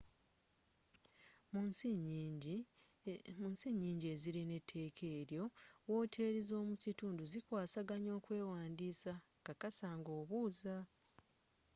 munsi nyingi ezirina eteeka ng’eryo woteeri z'omu kitundu zikwasaganya okwewandiisa kkakasa nga obuuza